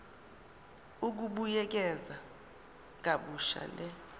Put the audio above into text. ukubuyekeza kabusha le